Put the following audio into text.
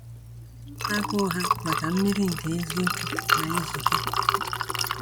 Agụụ ha maka mmiri nke eziokwu na-ezute.